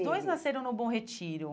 Os dois nasceram no Bom Retiro.